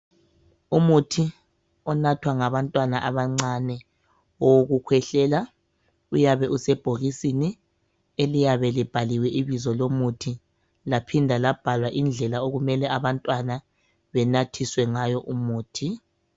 Umuthi onathwa ngantwana abancane owokukhwehlela. Uyabe usebhokisini eliyabe libhaliwe ibizo lomuthi laphinda labhalwa indlela okumele abantwana benathiswe ngayo umuthi.